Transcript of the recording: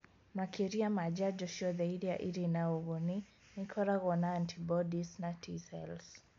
Makĩria ma njanjo ciothe iria irĩ na ũguni nĩ ikoragwo na antibodies na T-cells